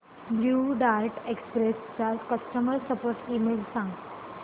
blue Dart Express चा customer support email सांग